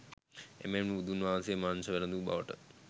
එමෙන්ම බුදුන් වහන්සේද මාංශ වැලඳු බවට